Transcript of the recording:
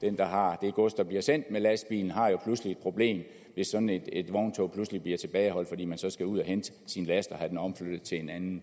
den der har det gods der bliver sendt med lastbilen et problem hvis sådan et vogntog pludselig bliver tilbageholdt fordi man så skal ud at hente sin last og have den omflyttet til en anden